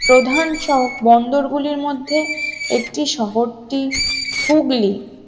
প্রধান সব বন্দরগুলির মধ্যে একটি শহর টি হুগলি